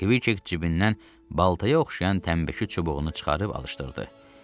Kviçek cibindən baltaya oxşayan tənbəki çubuğunu çıxarıb alışdırdı.